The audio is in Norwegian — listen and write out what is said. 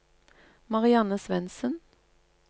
Marianne Svendsen